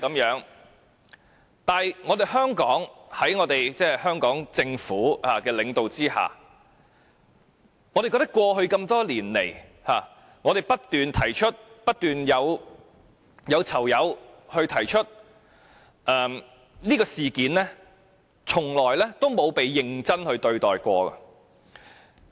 可是，我們認為，在香港政府領導下，過去多年來，我們及囚友不斷提出虐囚事件，但卻從未曾被認真對待。